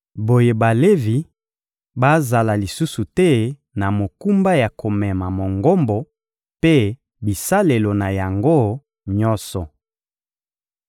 Boye Balevi bazala lisusu te na mokumba ya komema Mongombo mpe bisalelo na yango nyonso.»